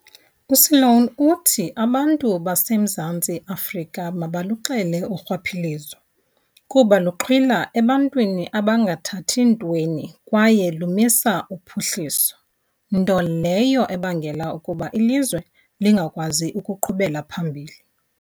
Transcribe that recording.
USeloane uthi abantu baseMzantsi Afrika mabaluxele urhwaphilizo kuba luxhwila ebantwini abangathathi ntweni kwaye lumisa uphuhliso, nto leyo ebangela ukuba ilizwe lingakwazi ukuqhubela phambili.